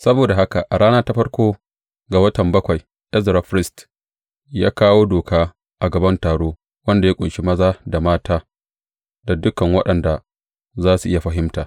Saboda haka a rana ta farko ga watan bakwai, Ezra firist, ya kawo Doka a gaban taro, wanda ya ƙunshi maza da mata da dukan waɗanda za su iya fahimta.